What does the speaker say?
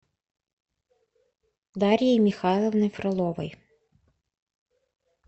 дарьей михайловной фроловой